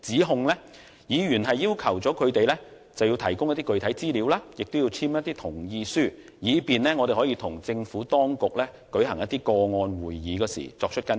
就此，議員要求他們提供具體資料及簽署同意書，以便與政府當局舉行個案會議的時候跟進。